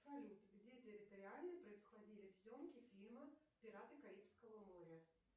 салют где территориально происходили съемки фильма пираты карибского моря